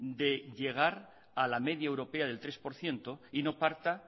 de llegar a la media europea del tres por ciento y no parta